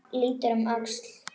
Lítur um öxl.